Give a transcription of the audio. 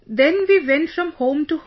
Then we went from home to home